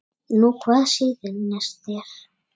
Nú hvað sýnist þér.